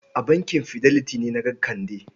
A bankin Fidelity na ga Kande?